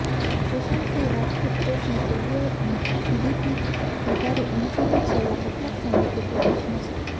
સુશાંત સિંહ રાજપૂત કેસમાં સીબીઆઈ અને ઈડીથી વધારે એનસીબી છેલ્લા કેટલાક સમયથી ફોકસમાં છે